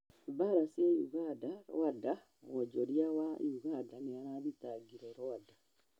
mbara cia uganda, Rwanda: mwonjoria wa Uganda nĩarathitangire Rwanda